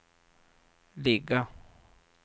ligga